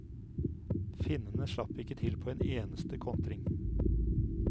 Finnene slapp ikke til på en eneste kontring.